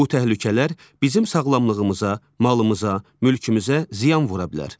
Bu təhlükələr bizim sağlamlığımıza, malımıza, mülkümüzə ziyan vura bilər.